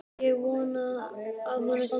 Ég vona að honum gangi vel.